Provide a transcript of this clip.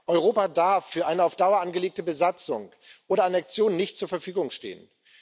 Europa darf für eine auf Dauer angelegte Besatzung oder Annexion nicht zur Verfügung stehen.